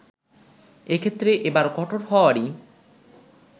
এক্ষেত্রে এবার কঠোর হওয়ারই